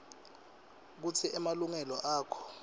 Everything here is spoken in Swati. kutsi emalungelo akho